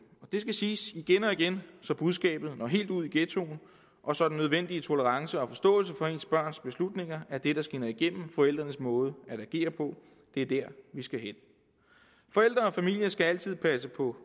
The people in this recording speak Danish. og det skal siges igen og igen så budskabet når helt ud i ghettoen og så den nødvendige tolerance og forståelse for ens børns beslutninger er det der skinner igennem i forældrenes måde at agere på det er dér vi skal hen forældre og familie skal altid passe på